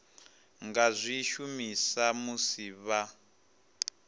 nga zwi shumisa musi vha